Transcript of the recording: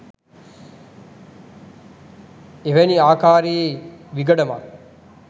එවැනි ආකාරයේ විගඩමක්